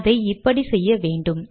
அதை இப்படி செய்ய வேண்டும்